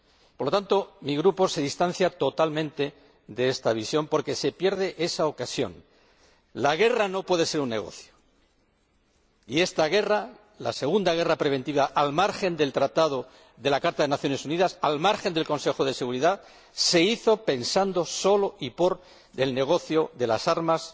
Por lo tanto, mi Grupo se distancia totalmente de esta visión porque se pierde esa ocasión. La guerra no puede ser un negocio y esta guerra, la segunda guerra preventiva al margen del Tratado de la Carta de las Naciones Unidas, al margen del Consejo de Seguridad, se hizo pensando solo y por el negocio de las armas,